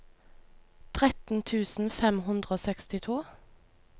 tretten tusen fem hundre og sekstito